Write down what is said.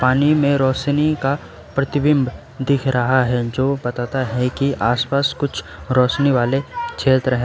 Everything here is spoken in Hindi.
पानी में रोशनी का प्रतिबिंब दिख रहा है जो बताता है कि आसपास कुछ रोशनी वाले क्षेत्र है।